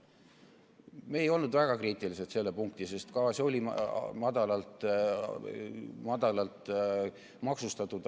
Me ei olnud väga kriitilised selle punkti suhtes, et on madalalt maksustatud.